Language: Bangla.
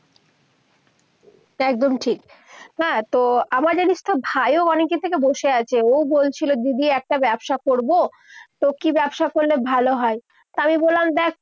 একদম ঠিক। হ্যাঁ, তো আমার জানিস তো ভাইও অনেকদিন থেকে বসে আছে। ও বলছিল, দিদি একটা ব্যবসা করবো। তো কি ব্যবসা করলে ভালো হয়? তো আমি বল্লাম দেখ